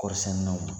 Kɔɔri sɛnɛnaw